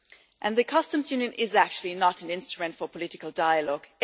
And the customs union is actually not an instrument for political dialogue